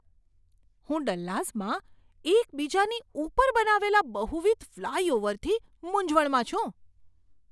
હું ડલ્લાસમાં એકબીજાની ઉપર બનાવેલા બહુવિધ ફ્લાયઓવરથી મૂંઝવણમાં છું.